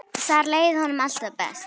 Þar leið honum alltaf best.